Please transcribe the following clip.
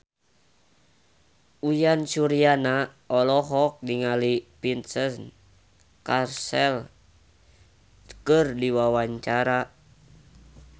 Uyan Suryana olohok ningali Vincent Cassel keur diwawancara